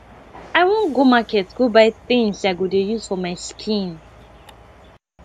i wan go market go buy things i go dey use for my skin